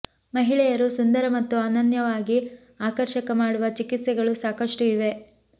ಮಹಿಳೆಯರು ಸುಂದರ ಮತ್ತು ಅನನ್ಯವಾಗಿ ಆಕರ್ಷಕ ಮಾಡುವ ಚಿಕಿತ್ಸೆಗಳು ಸಾಕಷ್ಟು ಇವೆ